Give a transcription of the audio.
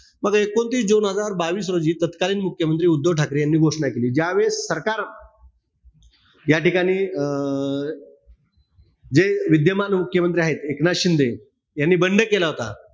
मग एकोणतीस जुन दोन हजार बावीस रोजी तत्कालीन मुख्यमंत्री उद्धव ठाकरे यांनी घोषणा केली. कि ज्या वेळेस सरकार याठिकाणी अं जे विद्यमान मुख्यमंत्री आहेत, एकनाथ शिंदे यांनी बंड केला होता.